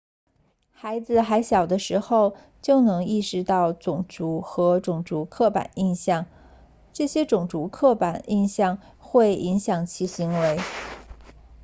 孩子还小的时候就能意识到种族和种族刻板印象这些种族刻板印象会影响其行为